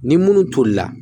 Ni munnu tolila